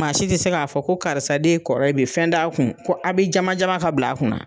Maa si tɛ se k'a fɔ ko karisa de ye kɔrɔ ye bi fɛn t'a kun ko a bɛ jama jama ka bil'a kunna.